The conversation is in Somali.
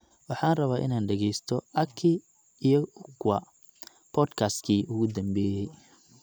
Waxaan rabaa inaan dhageysto aki iyo ukwa podcast-kii ugu dambeeyay